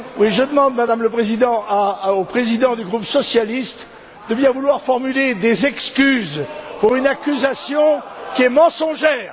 Je demande, Madame le Président, au président du groupe socialiste de bien vouloir formuler des excuses pour une accusation qui est mensongère.